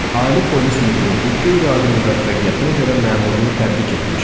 Ali polis müdiri bu qeyri-adi müvəffəqiyyətinə görə məmurunu təbrik etmişdi.